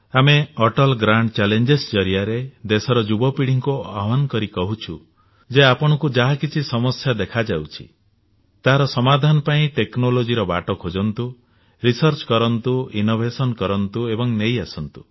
ଆମେ Atal grand challenge ଜରିଆରେ ଦେଶର ଯୁବ ପିଢ଼ିକୁ ଆହ୍ୱାନ କରି କହିଛୁ ଆପଣଙ୍କୁ ଯାହା କିଛି ସମସ୍ୟା ଦେଖାଯାଉଛି ତାହାର ସମାଧାନ ପାଇଁ ଟେକ୍ନୋଲଜିର ବାଟ ଖୋଜନ୍ତୁ ରିସର୍ଚ୍ଚ କରନ୍ତୁ ଇନୋଭେସନ କରନ୍ତୁ ଏବଂ ନେଇ ଆସନ୍ତୁ